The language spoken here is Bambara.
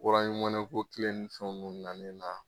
ko kile ni fɛn munnu nannen na